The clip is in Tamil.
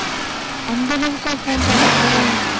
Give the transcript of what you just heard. அந்த அளவுக்கா phone பாத்தாங்க